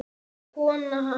og kona hans.